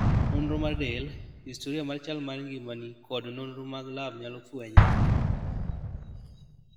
Nonro mar del, historia mar chal mar ngimani kod nonro mag lab nyalo fwenye